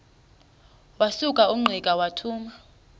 wasuka ungqika wathuma